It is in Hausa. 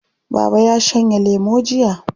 Baba ya shanye lemo jiya.